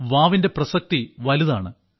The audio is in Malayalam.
വാവിന്റെ പ്രസക്തി വലുതാണ്